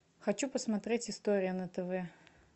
хочу посмотреть история на тв